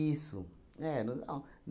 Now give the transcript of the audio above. Eram, não.